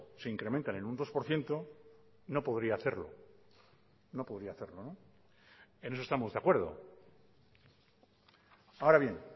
se incrementa en un dos por ciento no podría hacerlo no podría hacerlo no en eso estamos de acuerdo ahora bien